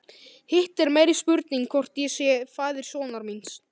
Hitt er meiri spurning hvort ég sé faðir sonar míns.